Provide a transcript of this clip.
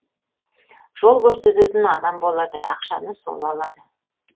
жол көрсететін адам болады ақшаны сол алады